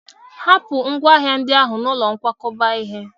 Hapụ ngwa ahịa ndị ahụ n'ụlọ nkwakọba ihe!